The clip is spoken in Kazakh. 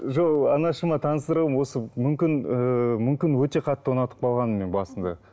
жоқ анашыма мүмкін ыыы мүмкін өте қатты ұнатып қалғанмын мен басында